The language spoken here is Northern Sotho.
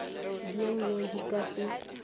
bj bj di ka se